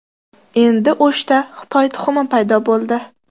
Endi O‘shda Xitoy tuxumi paydo bo‘ldi.